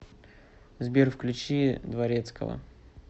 сбер включи дворецкова